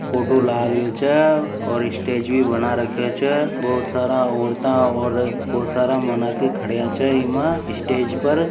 फोटो लगरो छे और स्टेज भी बना रख्ख्यो छे बहुत सारे ओरता और बहुत सारा मानाकी खड्या छे इमे स्टेज पर।